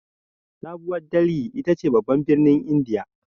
Sabuwar Dalhi ita ce babban birnin indiya.